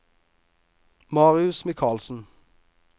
Marius Michaelsen